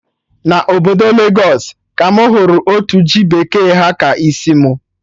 Na obodo Legos ka mụ hụrụ otu ji bekee ha ka isi mụ